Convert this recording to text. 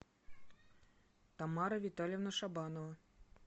тамара витальевна шабанова